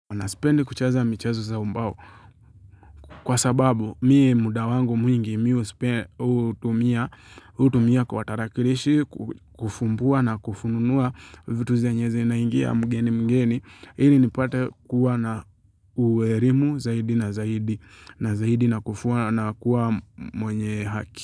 Na sipendi kucheza michezo za ubao kwa sababu mie muda wangu mwingi mimi hutumia hutumia kwa tarakilishi kufumbua na kufununua vitu zenye zinaingia mgeni mgeni ili nipate kuwa na uelimu zaidi na zaidi na zaidi na kufuwa na kuwa mwenye haki.